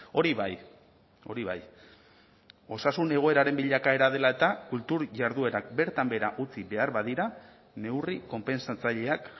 hori bai hori bai osasun egoeraren bilakaera dela eta kultur jarduerak bertan behera utzi behar badira neurri konpentsatzaileak